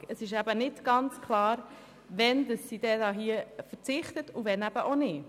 Es ist aber nicht klar, wann sie darauf verzichtet und wann nicht.